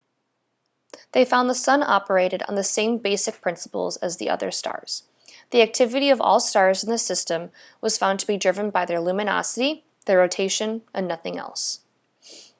they found the sun operated on the same basic principles as other stars the activity of all stars in the system was found to be driven by their luminosity their rotation and nothing else